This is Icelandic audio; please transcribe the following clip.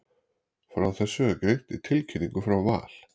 Frá þessu er greint í tilkynningu frá Val.